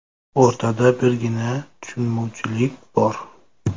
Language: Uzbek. O‘rtada birgina tushunmovchilik bor.